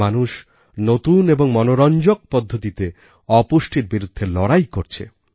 মানুষ নতুন এবং মনোরঞ্জক পদ্ধতিতে অপুষ্টির বিরুদ্ধে লড়াই করছে